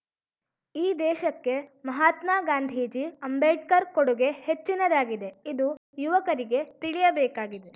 ಈ ದೇಶಕ್ಕೆ ಮಹಾತ್ಮ ಗಾಂಧೀಜಿ ಅಂಬೇಡ್ಕರ್‌ ಕೊಡುಗೆ ಹೆಚ್ಚಿನದಾಗಿದೆ ಇದು ಯುವಕರಿಗೆ ತಿಳಿಯಬೇಕಾಗಿದೆ